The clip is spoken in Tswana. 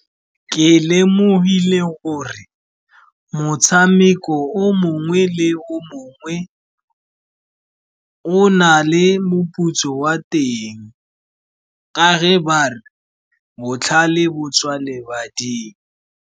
Ke lemogile gore motshameko o mongwe le o mongwe o na le moputso wa teng ka ge ba re, botlhale bo tswa lebading.